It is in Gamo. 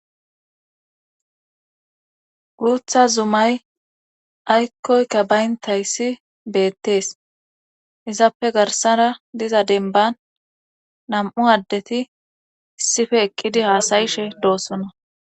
Uutha zumay aykkoykka bayntayssi beettees izaappe garsara diza denban nam7u addeti issife eqqidi haasayishe doosona